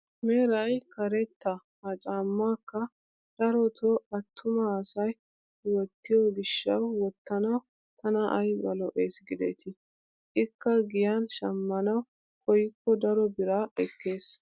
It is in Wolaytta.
Meray karetta ha caammaakka darotoo attuma asay wottiyo giishshawu wottanawu tana ayba lo"ees gidetii! ikka giyan shammanawu koykko daro biraa ekkees.